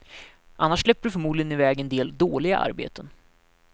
Annars släpper du förmodligen i väg en del dåliga arbeten.